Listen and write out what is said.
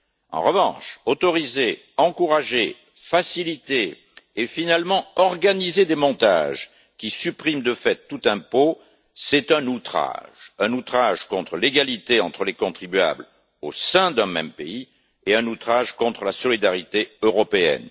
En revanche, autoriser, encourager, faciliter et finalement organiser des montages qui suppriment de fait tout impôt, c'est un outrage, un outrage contre l'égalité entre les contribuables au sein d'un même pays et un outrage contre la solidarité européenne.